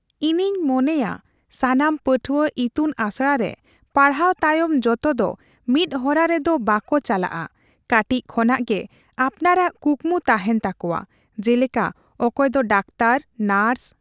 ᱤᱧᱤᱧ ᱢᱚᱱᱮᱭᱟ ᱥᱟᱱᱟᱢ ᱯᱟᱹᱴᱷᱣᱟᱹ ᱤᱛᱩᱱ ᱟᱥᱲᱟ ᱨᱮ ᱯᱟᱲᱦᱟᱣ ᱛᱟᱭᱚᱢ ᱡᱚᱛᱚ ᱫᱚ ᱢᱤᱫ ᱦᱚᱨᱟ ᱨᱮᱫᱚ ᱵᱟᱠᱚ ᱪᱟᱞᱟᱜᱼᱟ, ᱠᱟᱹᱴᱤᱡ ᱠᱷᱚᱱᱟᱝ ᱜᱮ ᱟᱯᱱᱟᱨᱟᱜ ᱠᱩᱠᱢᱩ ᱛᱟᱦᱮᱱ ᱛᱟᱠᱚᱣᱟ ᱾ ᱡᱮᱞᱮᱠᱟ ᱚᱠᱚᱭ ᱫᱚ ᱰᱟᱠᱛᱟᱨ, ᱱᱟᱨᱥ ᱾